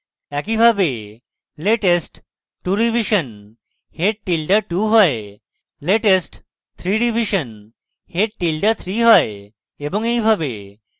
একইভাবে latest 2 revision head tilde 2 হয় latest 3 revision head tilde 3 হয় এবং এইভাবে